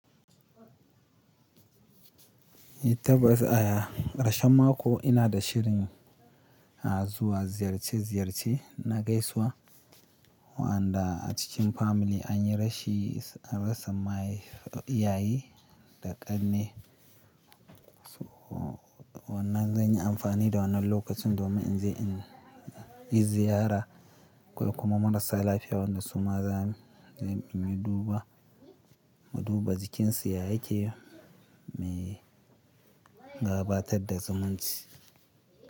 Eh tabbas a ƙarshen mako ina da shirin zuwa ziyarce-ziyarce na gaisuwa waanda a cikin family an yi rashi, an rasa mahai iyaye da ƙanne. So wannan zan yi amfani da wannan lokacin domin in je in yi ziyara waanda a cikin family an yi rashi, an rasa mahai iyaye da ƙanne.